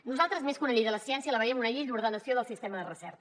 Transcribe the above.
nosaltres més que una llei de la ciència la veiem una llei d’ordenació del sistema de recerca